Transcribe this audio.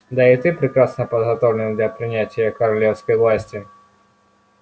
да и ты прекрасно подготовлен для принятия королевской власти